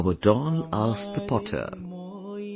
Our doll asked the potter,